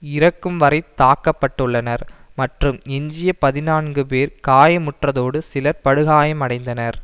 இறக்கும்வரை தாக்க பட்டுள்ளனர் மற்றும் எஞ்சிய பதினான்கு பேர் காயமுற்றதோடு சிலர் படுகாயமடைந்தனர்